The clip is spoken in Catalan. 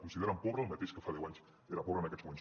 consideren pobre el mateix que fa deu anys era pobre en aquests moments